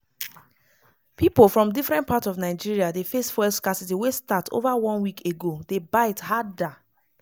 pipo from different parts of nigeria dey face fuel scarcity wey start over one week ago dey bite harder.